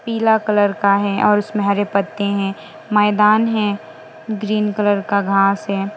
पीला कलर का है और उसमें हरे पत्ते हैं मैदान है ग्रीन कलर का घास है।